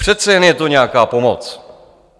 Přece jen je to nějaká pomoc.